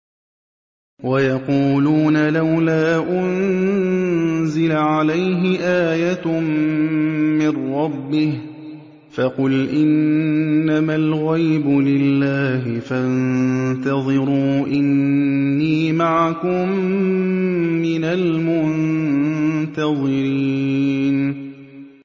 وَيَقُولُونَ لَوْلَا أُنزِلَ عَلَيْهِ آيَةٌ مِّن رَّبِّهِ ۖ فَقُلْ إِنَّمَا الْغَيْبُ لِلَّهِ فَانتَظِرُوا إِنِّي مَعَكُم مِّنَ الْمُنتَظِرِينَ